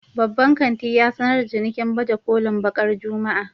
Babban kanti ya sanar da cinikin baje kolin bakar Juma'a